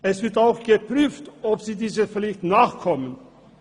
Es wird auch geprüft, ob sie dieser Pflicht nachkommen.